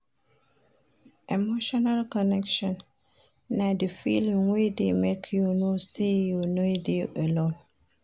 Emotional connection na di feeling wey dey make you know sey you no dey alone.